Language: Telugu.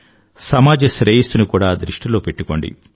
సమాజ శ్రేయస్సుని కూడా దృష్టిలో పెట్టుకోండి